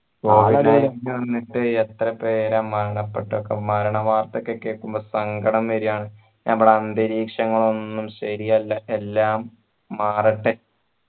എത്ര പേര മരണപ്പെട്ട മരണ വാർത്ത ഒക്കെ കേക്കുമ്പോ സങ്കടം വരുവാണ് നമ്മടെ അന്തരീക്ഷങ്ങള് ഒന്നൂ ശരിയല്ല എല്ലാം മാറട്ടെ